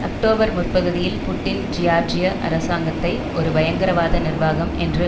October முற்பகுதியில் Putin ஜியார்ஜிய அரசாங்கத்தை ஒரு பயங்கரவாத நிர்வாகம் என்று